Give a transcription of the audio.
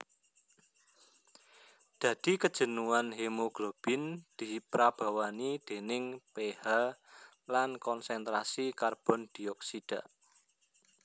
Dadi kejenuhan hemoglobin diprabawani dèning pH lan konsentrasi karbondioksida